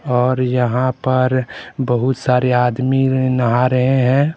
और यहां पर बहुत सारे आदमी नहा रहे हैं।